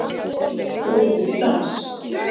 Boðið upp í dans